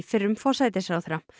fyrrum forsætisráðherra